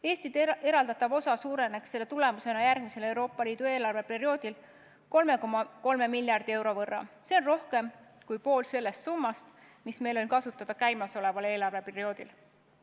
Eestile eraldatav osa suureneks selle tulemusena järgmisel Euroopa Liidu eelarveperioodil 3,3 miljardi euro võrra – see on rohkem kui pool sellest summast, mis meil on kasutada käimasoleval eelarveperioodil.